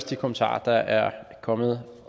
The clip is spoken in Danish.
de kommentarer der er kommet